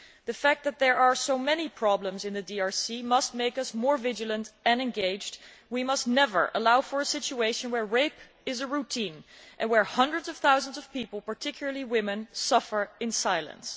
The fact that there are so many problems in the DRC must make us more vigilant and engaged. We must never allow a situation where rape is routine and where hundreds of thousands of people, particularly women, suffer in silence.